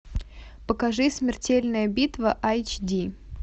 покажи смертельная битва айч ди